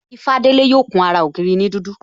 Ifalade yo kun ara ògiri ni dudu